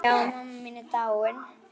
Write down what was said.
Já, mamma mín er dáin.